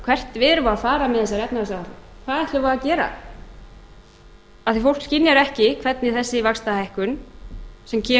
hvert við erum að fara með þessa efnahagsáætlun hvað ætlum við að gera af því fólk skynjar ekki hvernig þessi vaxtahækkun sem